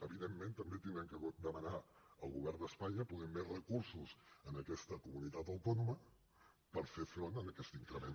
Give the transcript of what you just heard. evidentment també haurem de demanar al govern d’espanya poder més recursos en aquesta comunitat autònoma per fer front a aquest increment